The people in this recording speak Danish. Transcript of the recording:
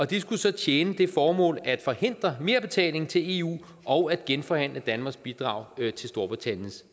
det skulle så tjene det formål at forhindre merbetaling til eu og at genforhandle danmarks bidrag til storbritanniens